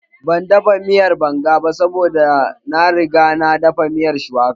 Ban dafa miyar banga ba saboda na riga na dafa miyar shuwaka